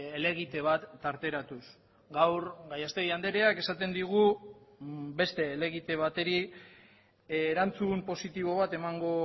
helegite bat tarteratuz gaur gallastegui andreak esaten digu beste helegite bateri erantzun positibo bat emango